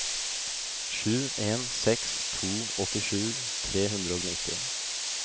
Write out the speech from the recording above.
sju en seks to åttisju tre hundre og nitti